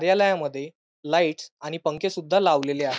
देवालयामध्ये lights आणि पंखे सुद्धा लावलेले आहे.